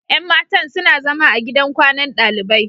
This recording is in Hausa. Yan matan suna zama a gidan kwanan dalibai.